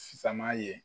Sisan ye